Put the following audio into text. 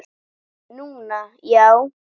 Núna, já.